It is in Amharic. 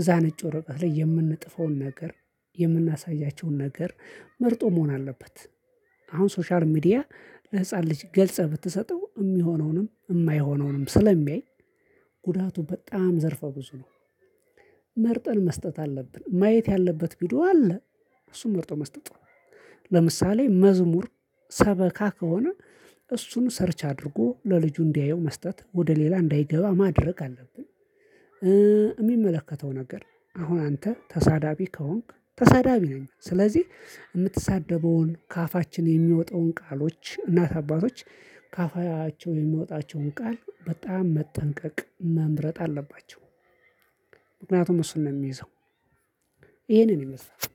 እዛ ነጭ ወረቀት ላይ የምንጥፈውን ነገር የምናሳያቸውን ነገር መርጦ መሆን አለበት። አሁን ሶሻል ሚዲያ ለህፃን ልጅ ገልጸህ ብትሰጠው የሚሆነውንም የማይሆነውንም ስለሚያይ ጉዳቱ በጣም ዘርፈ ብዙ ነው። መርጠን መስጠት አለብን ማየት ያለበት ቪዲዮ አለ። እሱም መርጠው መስጠት ነው። ለምሳሌ መዝሙር ሰበካ ከሆነ እሱን ሰርች አድርጎ ለልጁ እንዲያየው መስጠት ወደ ሌላ እንዳይገባ ማድረግ አለብን። እሚመለከተው ነገር አሁን አንተ ተሳዳቢ ከሆንክ ተሳዳቢ ነኝ ስለዚህ የምትሳደበውን ከአፋችን የሚወጣውን ቃሎች እናት አባቶች ከአፋቸው የሚወጣቸውን ቃል በጣም መጠንቀቅ መምረጥ አለባቸው። ምክንያቱም እሱን ነው የሚይዘው። ይሄንን ይመስላል